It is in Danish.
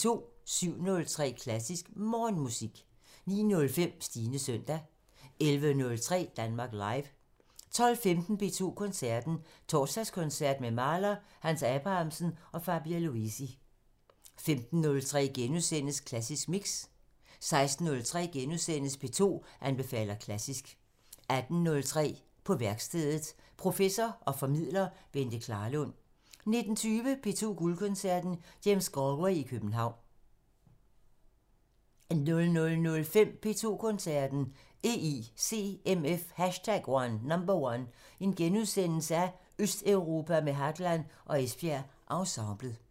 07:03: Klassisk Morgenmusik 09:05: Stines søndag 11:03: Danmark Live 12:15: P2 Koncerten – Torsdagskoncert med Mahler, Hans Abrahamsen og Fabio Luisi * 15:03: Klassisk Mix * 16:03: P2 anbefaler klassisk * 18:03: På værkstedet – Professor og formidler Bente Klarlund 19:20: P2 Guldkoncerten – James Galway i København 00:05: P2 Koncerten – EICMF #1: Østeuropa med Hadland og Esbjerg Ensemblet *